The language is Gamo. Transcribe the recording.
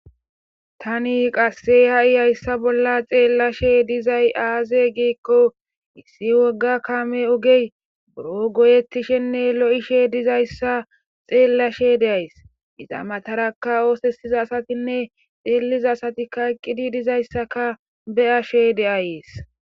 Tani qasse ha7i hayssa bolla xeellashe dizay aaze giikko issi wogga kaame ogey buro goyetishenne lo7ishe dizayssa xeellashe deays ixamataraka oosesiza asatinne xeelliza asati kaqqidi dizayssaka beyashe de7ayees.